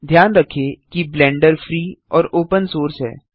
ध्यान रखें कि ब्लेंडर फ्री और ओपन सोर्स है